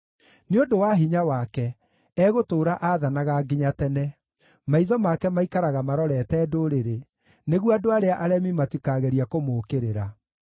Nĩ ũndũ wa hinya wake, egũtũũra aathanaga nginya tene, maitho make maikaraga marorete ndũrĩrĩ, nĩguo andũ arĩa aremi matikagerie kũmũũkĩrĩra.